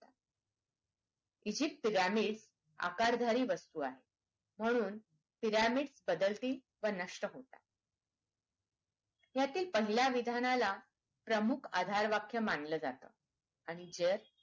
egypt pyramid आकारधारी वास्तू आहे म्हणून pyramid बदलात व नष्ट होतात ह्यातील पहिल्या विधानाला प्रमुख आधार वाक्य मानलं जातं आणि जर